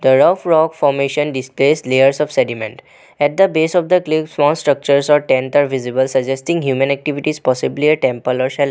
The rough rock formation displays layers of sediment at the base of cliff small structure or tents are visible suggesting a human activities possibly temple or shel --